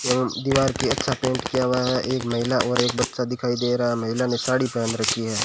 एवम दीवार के अच्छा पेंट किया हुआ है एक महिला और एक बच्चा दिखाई दे रहा है महिला ने साड़ी पहन रखी है।